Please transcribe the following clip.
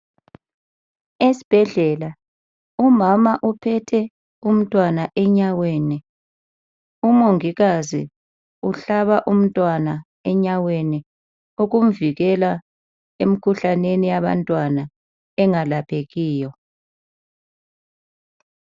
Esibhedlela umama uphethe umntwana enyaweni umongikazi uhlaba umntwana enyaweni ukumvikela emkhuhlaneni yabantwana engalaphekiyo.